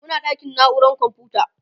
Muna ɗakin naurar komfuta.